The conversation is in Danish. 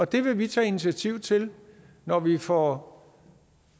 det vil vi tage initiativ til når vi får